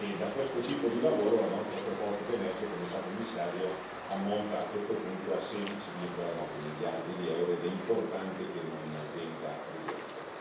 Da questo tipo di lavoro la nostra proposta che emerge, come sa, Commissario, ammonta a questo punto a 16,9 miliardi di euro ed è importante che non venga ridotta.